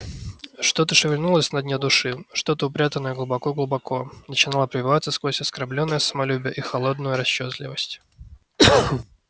что-то шевельнулось на дне души что-то упрятанное глубоко-глубоко начинало пробиваться сквозь оскорблённое самолюбие и холодную расчётливость